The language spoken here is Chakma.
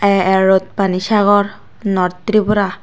a a road panisagar north tripura.